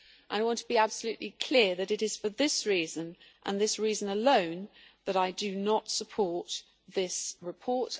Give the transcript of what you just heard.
I want to be absolutely clear that it is for this reason and this reason alone, that I do not support this report.